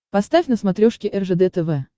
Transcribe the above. поставь на смотрешке ржд тв